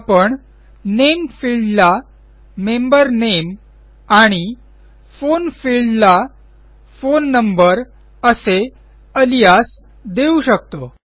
आपण नामे फिल्डला मेंबर नामे आणि फोन fieldला फोन नंबर असे अलियास देऊ शकतो